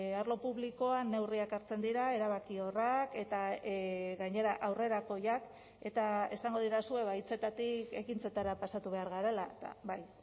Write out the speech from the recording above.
arlo publikoan neurriak hartzen dira erabakiorrak eta gainera aurrerakoiak eta esango didazue hitzetatik ekintzetara pasatu behar garela eta bai